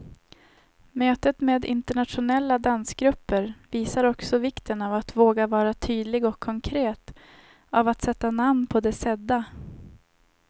Mötet med internationella dansgrupper visar också vikten av att våga vara tydlig och konkret, av att sätta namn på det sedda.